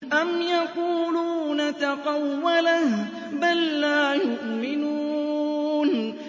أَمْ يَقُولُونَ تَقَوَّلَهُ ۚ بَل لَّا يُؤْمِنُونَ